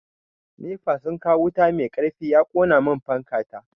Nefa sun kawo wuta mai karfi ya kona mun fanka ta.